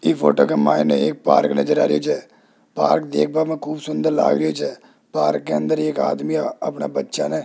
ई photo के माइने एक पार्क नजर आ रही छे पार्क देखबा में खूब सुंदर लागे छे पार्क के अंदर एक आदमी अपना बच्चा ने --